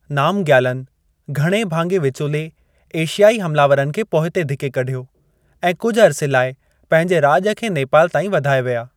नामग्यालनि, घणे भाङे विचोले एशियाई हमलावरनि खे पोइते धिके कढियो ऐं कुझि अर्से लाइ पंहिंजे राॼ खे नेपाल ताईं वधाए विया।